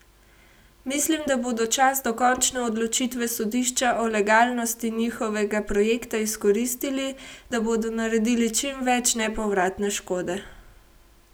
Mislim, da bodo čas do končne odločitve sodišča o legalnosti njihovega projekta izkoristili, da bodo naredili čim več nepovratne škode.